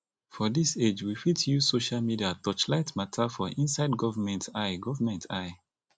for this age we fit use social media touch light matter for inside government eye government eye